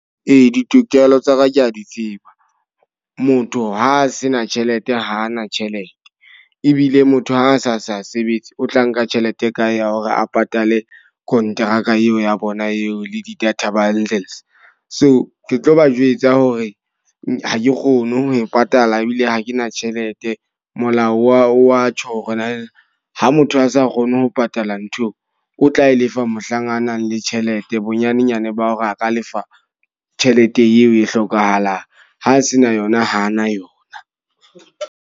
Ee, ditokelo tsa ka ke a di tseba. Motho ha a se na tjhelete hana tjhelete. Ebile motho ha a sa sa sebetse, o tla nka tjhelete e kae ya hore a patale kontraka eo ya bona eo le di-data bundles. So ke tlo ba jwetsa hore ha ke kgone ho e patala ebile ha ke na tjhelete. Molao wa wa tjho hore na ha motho a sa kgone ho patala ntho eo. O tla e lefa mohlang a nang le tjhelete, bonyanenyana ba hore a ka lefa tjhelete eo e hlokahalang. Ha se na yona ha a na yona.